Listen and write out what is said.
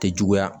Tɛ juguya